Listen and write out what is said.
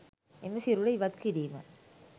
එම සිරුර ඉවත් කිරීම